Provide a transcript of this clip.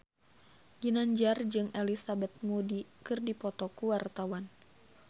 Ginanjar jeung Elizabeth Moody keur dipoto ku wartawan